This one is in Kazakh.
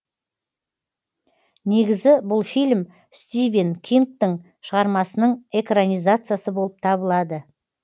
негізі бұл фильм стивен кингтың шығармасының экранизациясы болып табылады